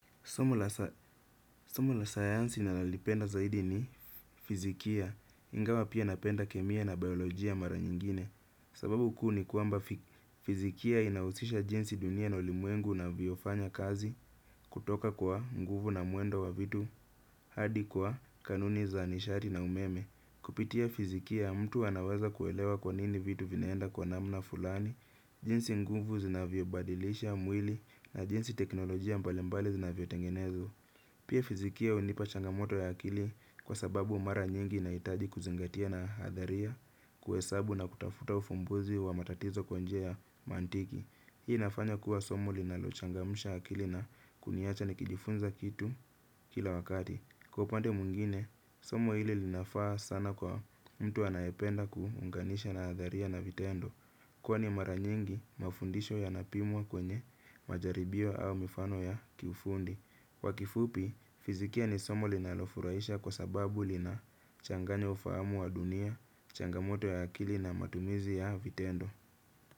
Somu la sayansi ninalolipenda zaidi ni fizikia. Ingawa pia napenda kemia na biolojia mara nyingine. Sababu kuu ni kwamba fizikia inahusisha jinsi dunia na ulimwengu inavyofanya kazi. Kutoka kwa nguvu na mwendo wa vitu hadi kwa kanuni za nishari na umeme. Kupitia fizikia mtu anaweza kuelewa kwa nini vitu vinaenda kwa namna fulani. Jinsi nguvu zinavyo badilisha mwili na jinsi teknolojia mbalimbali zinavyo tengenezwa. Pia fizikia hunipa changamoto ya akili kwa sababu mara nyingi nahitaji kuzingatia na hadharia kuhesabu na kutafuta ufumbuzi wa matatizo kwa njia ya mantiki. Hii inafanya kuwa somo linalochangamsha akili na kuniacha nikijifunza kitu kila wakati. Kwa pande mwingine, somo hili linafaa sana kwa mtu anayependa kuunganisha na hadharia na vitendo. Kwani mara nyingi mafundisho yanapimwa kwenye majaribio au mifano ya kiufundi. Kwa kifupi, fizikia ni somo linalofurahisha kwa sababu lina changanya ufahamu wa dunia, changamoto ya akili na matumizi ya vitendo.